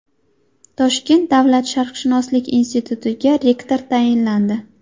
Toshkent davlat sharqshunoslik institutiga rektor tayinlandi.